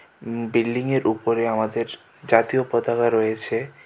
উম বিল্ডিংয়ের উপরে আমাদের জাতীয় পতাকা রয়েছে .]